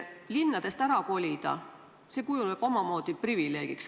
Linnadest ärakolimine kujuneb omamoodi privileegiks.